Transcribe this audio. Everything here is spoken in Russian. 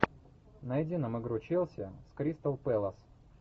найди нам игру челси с кристал пэлас